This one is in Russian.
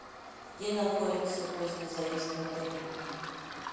где находится поздний заезд в отеле